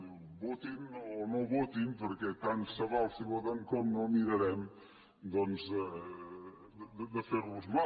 diu votin o no votin perquè tant se val si voten com no mirarem de fer los mal